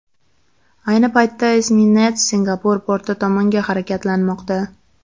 Ayni paytda esminets Singapur porti tomonga harakatlanmoqda.